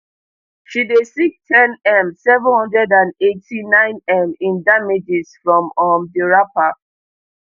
she dey seek ten m seven hundred and eighty-ninem in damages from um di rapper